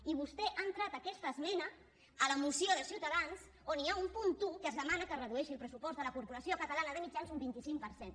i vostè ha entrat aquesta esmena a la moció de ciutadans on hi ha un punt un en què es demana que es redueixi el pressupost de la corporació catalana de mitjans un vint cinc per cent